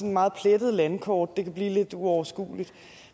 meget plettet landkort kan blive lidt uoverskueligt